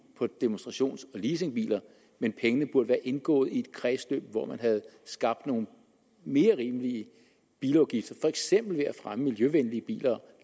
på demonstrations og leasingbiler men pengene burde være indgået i et kredsløb hvor man havde skabt nogle mere rimelige bilafgifter for eksempel ved at fremme miljøvenlige biler